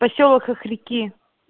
посёлок хохряки